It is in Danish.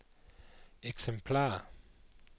eksemplarer